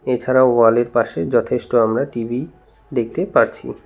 এছাড়াও ওয়ালের পাশে যথেষ্ট আমরা টি_ভি দেখতে পারছি।